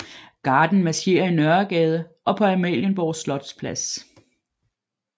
Garden marcherer i Nørregade og på Amalienborg Slotsplads